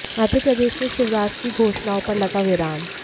मध्य प्रदेश में शिवराज की घोषणाओं पर लगा विराम